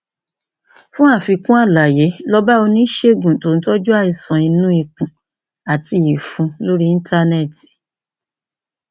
fún àfikún àlàyé lọ bá oníṣègùn tó ń tọjú àìsàn inú ikùn àti ìfun lórí íńtánẹẹtì